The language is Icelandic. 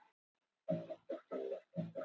Steinmóður, hvað er opið lengi á sunnudaginn?